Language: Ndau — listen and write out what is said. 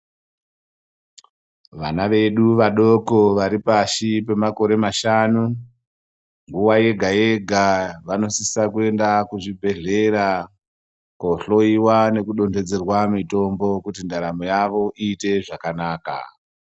Vana vedu vadoko vari pashi pemakore mashanu nguwa yega yega vanosisa kuenda kuzvibhedhlera kohloyiwa nekudonjedzerwa mitombo kuti ndaramo yavo iite zvakanaka .